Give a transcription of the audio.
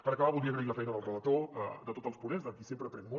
per acabar voldria agrair la feina del relator de tots els ponents de qui sempre aprenc molt